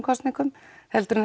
kosningum heldur en